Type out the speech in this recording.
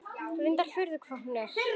Reyndar furða hvað hún er.